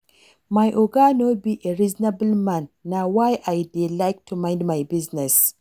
My Oga no be a reasonable man na why I dey like to mind my business